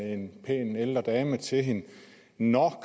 en pæn ældre dame til hende nå